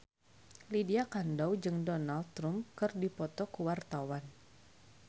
Lydia Kandou jeung Donald Trump keur dipoto ku wartawan